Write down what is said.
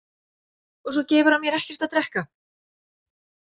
Og svo gefur hann mér ekkert að drekka.